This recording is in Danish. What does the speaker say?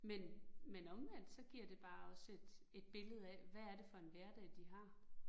Men men omvendt, så giver det bare også et et billede af, hvad er det for en hverdag, de har